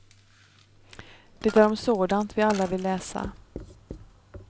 Det är om sådant vi alla vill läsa.